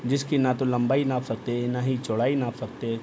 जिसकी ना तो लम्बाई नाप सकते हैं ना तो चौड़ाई नाप सकते हैं |